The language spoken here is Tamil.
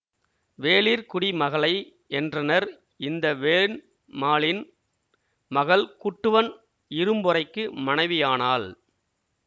வேளிர் குடி மகளை என்றனர் இந்த வேண்மாளின் மகள் குட்டுவன் இரும்பொறைக்கு மனைவியானாள்